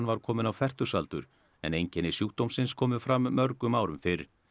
var kominn á fertugsaldur en einkenni sjúkdómsins komu fram mörgum árum fyrr